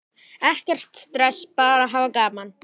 Ekkert stress, bara hafa gaman!